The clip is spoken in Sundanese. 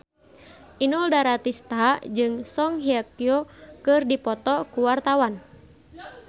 Inul Daratista jeung Song Hye Kyo keur dipoto ku wartawan